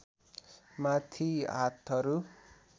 माथि हातहरू